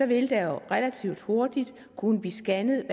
vil der jo relativt hurtigt kunne blive scannet